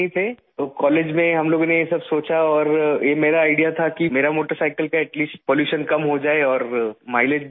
اور کالج میں ہم لوگوں نے یہ سب سوچا اور یہ میرا آئیڈیا تھا کہ میری موٹرسائیکل کی آلودگی کم سے کم ہوجائے اور مائی لیج بڑھ جائے